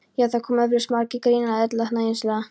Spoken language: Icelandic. Já, það koma eflaust margir til greina sagði Erla hæðnislega.